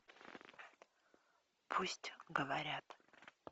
пусть говорят